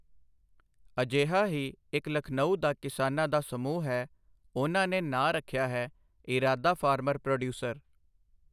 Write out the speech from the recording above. ਅਜਿਹਾ ਹੀ ਇੱਕ ਲਖਨਊ ਦਾ ਕਿਸਾਨਾਂ ਦਾ ਸਮੂਹ ਹੈ, ਉਨ੍ਹਾਂ ਨੇ ਨਾਂ ਰੱਖਿਆ ਹੈ, ਇਰਾਦਾ ਫਾਰਮਰ ਪ੍ਰੋਡਿਊਸਰ।